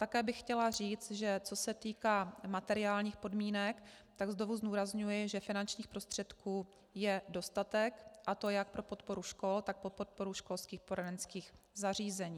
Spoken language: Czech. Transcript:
Také bych chtěla říct, že co se týká materiálních podmínek, tak znovu zdůrazňuji, že finančních prostředků je dostatek, a to jak pro podporu škol, tak pro podporu školských poradenských zařízení.